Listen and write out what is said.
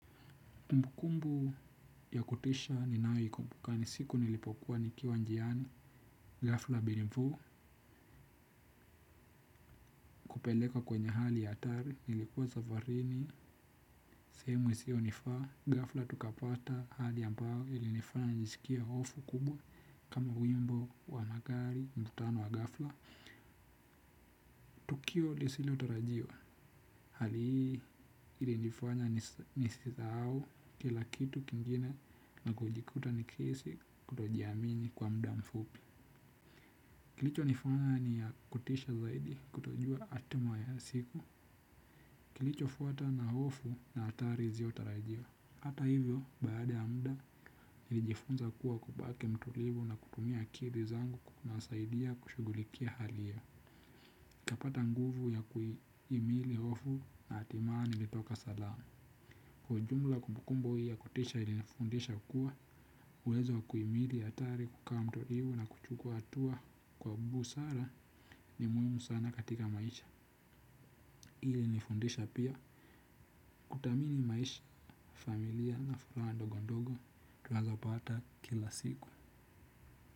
Kumbukumbu ya kutisha ninayoikumbuka ni siku nilipokuwa nikiwa njiani, ghafla bin vuu, kupelekwa kwenye hali ya hatari, nilikuwa safarini, sehemu isiyo nifaa, ghafla tukapata hali ambao ilinifanya nijisikie hofu kubwa kama wimbo wa magari mkutano wa ghafla. Tukio lisilo tarajiwa, hali hii ilinifanya nisisahau kila kitu kingine na kujikuta nikihisi kutojiamini kwa muda mfupi. Kilicho nifanya ni ya kutisha zaidi kutojua hatima ya siku. Kilicho fuata na hofu na hatari isio tarajiwa. Hata hivyo, baada muda nilijifunza kuwa kubaki mtulivu na kutumia akili zangu kuwasaidia kushughulikia hali hiyo. Nikapata nguvu ya kuhimili hofu na hatimaye nilitoka salama. Kwa ujumla kumbukumbu hii ya kutisha ili nifundisha kuwa uwezo wa kuhimili hatari kukawa mtulivu na kuchukua hatua kwa busara ni muhimu sana katika maisha. Ili nifundisha pia kutamini maisha familia na furaha ndogo ndogo tunazo pata kila siku.